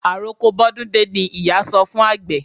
Àroko bọ́dún dé ni ìyá sọ fún àgbẹ̀.